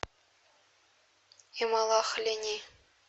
эмалахлени